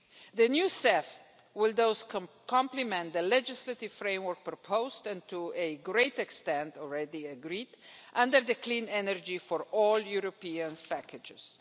The new CEF will thus complement the legislative framework proposed and, to a great extent, already agreed under the clean energy for all Europeans packages.